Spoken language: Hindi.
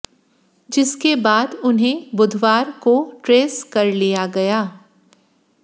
जिसके बाद उन्हें बुधवार को ट्रेस कर लिया गया